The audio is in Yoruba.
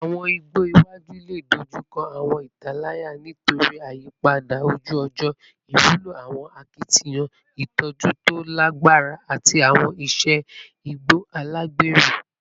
Awọn igbo iwaju le dojukọ awọn italaya nitori iyipada oju-ọjọ, iwulo awọn akitiyan itọju to lagbara ati awọn iṣe igbo alagbero